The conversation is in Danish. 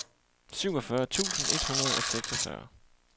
syvogfyrre tusind et hundrede og seksogfyrre